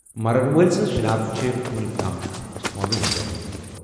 مرن وٲلۍ سٕنٛز شناخت چھےٚ وُنیُکتام معلوم گٔمٕژ۔